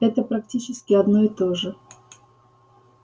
это практически одно и то же